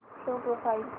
show profile